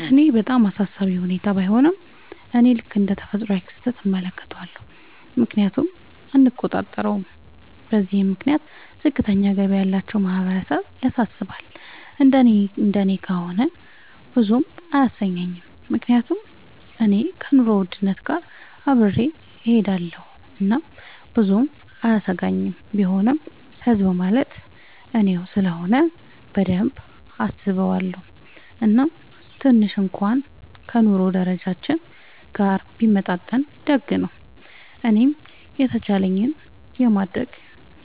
ለኔ በጣም አሳሳቢ ሁኔታ ባይሆንም፤ እኔ ልክ እንደ ተፈጥሯዊ ክስተት እመለከተዋለሁ፤ ምክንያቱም እኛ አንቆጣጠረውም። በዚህም ምክንያት ዝቅተኛ ገቢ ያላቸው ማህበረሰብ ያሳስባል፤ እንደኔ እንደኔ ከሆነ ብዙም አያሰኘኝም፤ ምክንያቱም እኔ ከኑሮ ውድነት ጋር አብሬ እሆዳለኹ እናም ብዙም አያሰጋኝም፤ ቢሆንም ህዝብ ማለት እኔው ስለሆነ በደንብ አስበዋለው፤ እናም ትንሽ እንኩዋን ከ ኑሮ ደረጃችን ጋር ቢመጣጠን ደግ ነው። እኔም የተቻለኝን የማረግ